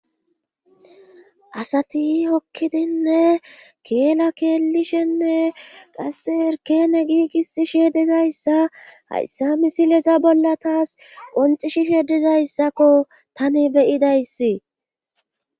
Asati hokkidinne keella keelishenne qasse erkene giigisishshe dizayssa hayssa misileza bolla taas qoncissishe dizayssakko tani be'idayssi